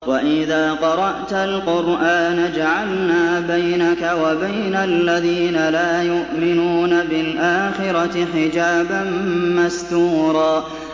وَإِذَا قَرَأْتَ الْقُرْآنَ جَعَلْنَا بَيْنَكَ وَبَيْنَ الَّذِينَ لَا يُؤْمِنُونَ بِالْآخِرَةِ حِجَابًا مَّسْتُورًا